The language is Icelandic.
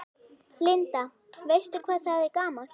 Linda: Veistu hvað það er gamalt?